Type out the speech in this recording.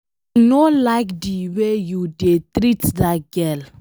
I no like the way you dey treat dat girl.